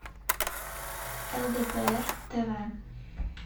лдпр тв